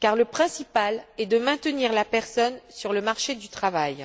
car le principal est de maintenir la personne sur le marché du travail.